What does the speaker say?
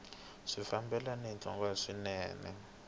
swi fambelana ni nhlokomhaka swinene